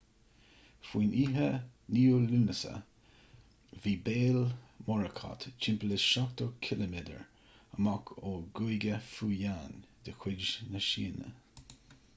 faoin oíche 9ú lúnasa bhí béal morakot timpeall is seachtó ciliméadar amach ón gcúige fujian de chuid na síne